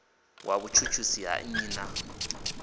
wa vhutshutshisi ha nnyi na